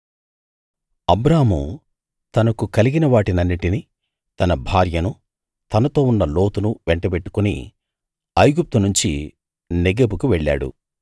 అబ్రాము తనకు కలిగిన వాటినన్నిటినీ తన భార్యనూ తనతో ఉన్న లోతును వెంటబెట్టుకుని ఐగుప్తు నుంచి నెగెబుకు వెళ్ళాడు